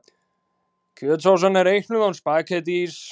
Kjötsósan er reiknuð án spaghettís.